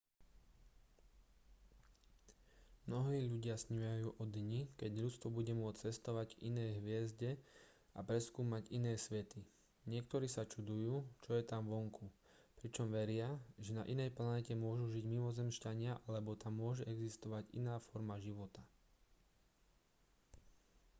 mnohí ľudia snívajú o dni keď ľudstvo bude môcť cestovať k inej hviezde a preskúmať iné svety niektorí sa čudujú čo je tam vonku pričom veria že na inej planéte môžu žiť mimozemšťania alebo tam môže existovať iná forma života